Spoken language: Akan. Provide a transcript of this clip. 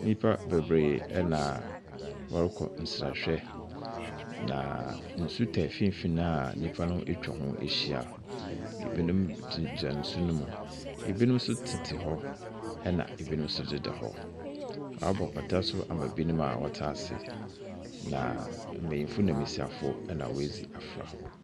Nyimpa beberee na wɔrokɔ nserahwɛ, na nsu taa finimfin a nyimpa no etwa ho ehyia. Binom gyinagyina nsu no mu, binom tsetse hɔ na binom so deda hɔ. Wɔabɔ pata so ama binom a wɔtse ase. Na mbanyin na mbasiafo na woedzi afora.